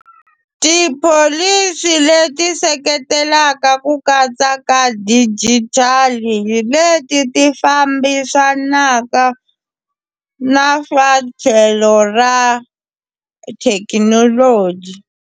Tipholisi leti seketelaka ku katsa ka digital leti hi leti fambisanaka na swa tlhelo ra thekinoloji.